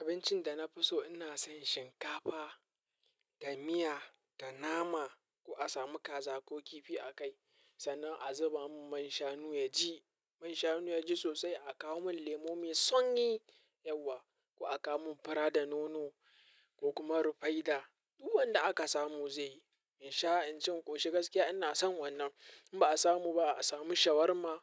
Abincin da na fi so ina son shinkafa da miya da nama. Ko a samu kaza ko kifi a kai sannan a zuba mun man shanu ya ji. Manshanu yaji sosai akawomin lemo mai sanyi yauwa ko a kawo mun fura da nono ko kuma rufaida. Duk wanda aka samu zai yi. In sha, in cin ƙoshi gaskiya ina son wannan. In ba a samu ba a samu shawarma